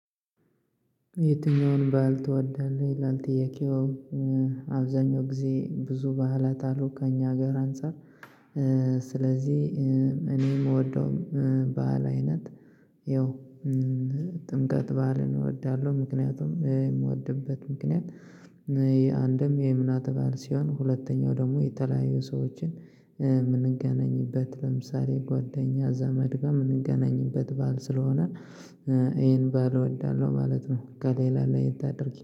የትኛውን ባል ትወዳለህ ይላል ጥያቄው? አብዛኛው ጊዜ ብዙ በዓላት አሉ ከእኛ ሀገር አንፃር። ስለዚህ እኔ የምወደው በዓል አይነት ይኸው ጥምቀት በዓልን እወዳለሁ ምክንያቱም የምወድበት ምክንያት። ይሄ አንድም የእምነት በዓል ሲሆን ሁለተኛው ደግሞ የተለያዩ ሰዎችን የምንገናኝበት ለምሳሌ ጓደኛ ዘመድ ጋር የምንገናኝበት በዓል ስለሆነ ይሄን በዓል እወዳለሁ ማለት ነው። ከሌላ ለየት አድርጌ